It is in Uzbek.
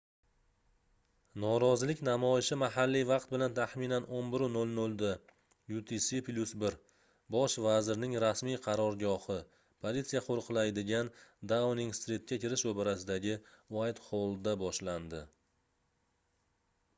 norozilik namoyishi mahalliy vaqt bilan taxminan 11:00 da utc+1 bosh vazirning rasmiy qarorgohi – politsiya qo'riqlaydigan dauning-stritga kirish ro'parasidagi uaytxollda boshlandi